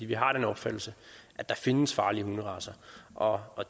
vi har den opfattelse at der findes farlige hunderacer og og